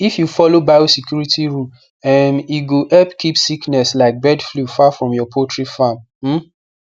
if you follow biosecurity rules um e go help keep sickness like bird flu far from your poultry farm um